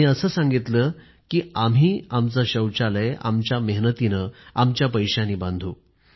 आणि असं सांगितलं कि आम्ही आमचं शौचालय आमच्या मेहनतीने आमच्या पैशानी बांधू